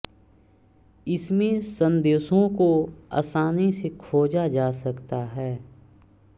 इसमें संदेशों को आसानी से खोजा जा सकता है